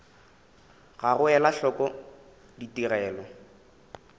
ga go ela hloko ditigelo